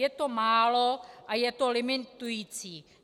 Je to málo a je to limitující.